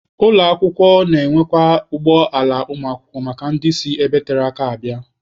Ụlọ akwụkwọ na-enwekwa ụgbọ ala ụmụakwụkwọ maka ndị si ebe tere aka abịa.